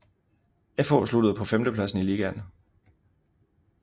FH sluttede på femtepladsen i ligaen